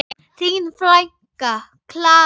Þín frænka, Klara.